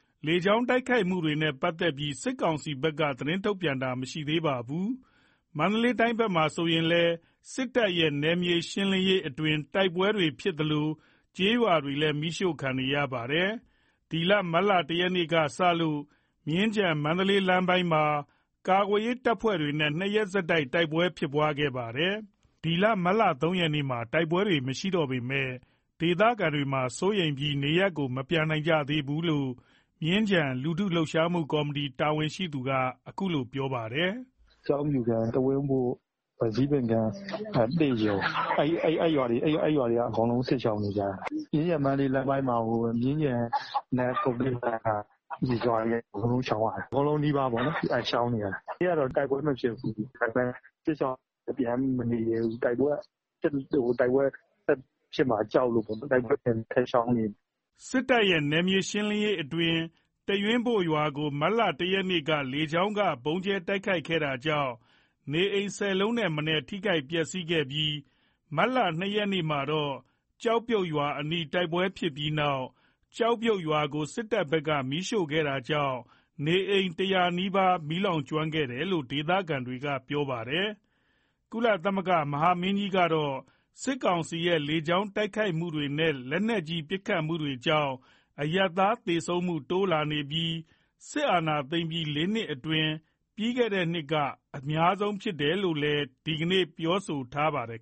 ။ လေကြောင်းတိုက်ခိုက်တာတွေနဲ့ပတ်သက်ပြီး စစ်ကောင်စီဘက်က သတင်းထုတ်ပြန်တာ မရှိသေးပါဘူး။ မန္တလေးတိုင်းဘက်မှာဆိုရင်လည်း စစ်တပ်ရဲ့ နယ်မြေရှင်းလင်းရေးအတွင်း တိုက်ပွဲတွေရှိနေသလို ကျေးရွာတွေလည်း မီးရှို့ခံနေရပါတယ်။ မတ်လ ရက်ကစလို့ မြင်းခြံ မန္တလေး လမ်းပိုင်းမှာ ကာကွယ်ရေး တပ်ဖွဲ့တွေနဲ့ ရက် ဆက်တိုက် တိုက်ပွဲတွေရှိခဲ့တာပါ။ ဒီကနေ့ မတ်လ ရက်နေ့မှာ တိုက်ပွဲတွေမရှိတော့ပေမယ့် ဒေသခံတွေကစိုးရိမ်ပြီး နေရပ် မပြန်နိုင်ကြသေးဘူးလို့ မြင်းခြံလူထုလှုပ်ရှားမှု ကော်မတီ တာဝန်ရှိသူက အခုလို ပြောပါတယ်။ "ကျောက်ပြုတ်၊ ဓူဝံ၊ တူးရွင်းဘို့၊ သစ်ရုံ အဲ့ရွာတွေက အကုန်စစ်ရှောင်နေကြတယ်။ မြင်းခြံ-မန္တလေး လမ်းပိုင်းမှာကို မြင်းခြံ ကုက္ကိုကဲလမ်းပိုင်းက အကုန်နီးပါး စစ်ရှောင်နေရတယ်။ ဒီနေ့ကတော့ တိုက်ပွဲ မဖြစ်ဘူး။ တိုက်ပွဲမဖြစ်ပေမယ့် စစ်ရှောင်တွေက ပြန်မနေရဲဘူး။ တိုက်ပွဲဆက်ဖြစ်မှာကြောင့် အကုန်ရှောင်နေကြတယ်။" စစ်တပ်ရဲ့ နယ်မြေရှင်းလင်းရေးအတွင်း တူးရင်းဘို့ရွာကို မတ်လ ရက်က လေကြောင်းက ဗုံးကြဲ တိုက်ခိုက်တာကြောင့် နေအိမ် အိမ်ထက်မနည်း ထိခိုက်ပျက်စီးခဲ့ပြီး မတ်လ ရက်မှာ တော့ ကျောက်ပြုတ်ရွာအနီး တိုက်ပွဲဖြစ်ပြီးနောက် ကျောက်ပြုတ်ရွာကို စစ်တပ်ဘက်က မီးရှို့ခဲ့တာကြောင့် နေအိမ် နီးပါး မီးလောင်ကျွမ်းခဲ့တယ်လို့ ဒေသခံတွေကပြောပါတယ်။ ကုလသမဂ္ဂ မဟာမင်းကြီးကတော့ စစ်ကောင်စီရဲ့ လေကြောင်းတိုက်ခိုက်မှုတွေနဲ့ လက်နက်ကြီး ပစ်ခတ်မှုတွေကြောင့် အရပ်သား သေဆုံးမှုတွေ တိုးလာနေပြီး စစ်အာဏာသိမ်းပြီး နှစ်အတွင်း ပြီးခဲ့တဲ့နှစ်မှာ အများဆုံးဖြစ်ခဲ့တယ်လို့လည်း ဒီကနေ့ပဲ ပြောထားပါတယ်